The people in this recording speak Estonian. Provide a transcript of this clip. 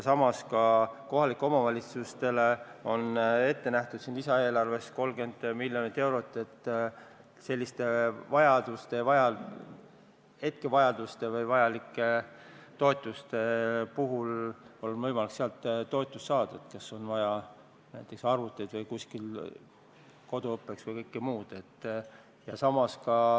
Samas on ka kohalikele omavalitsustele lisaeelarves ette nähtud 30 miljonit eurot, millest on selliste hetkevajaduste jaoks võimalik toetust saada, näiteks kui on vaja koduõppeks arvuteid või midagi muud.